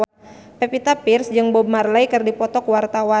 Pevita Pearce jeung Bob Marley keur dipoto ku wartawan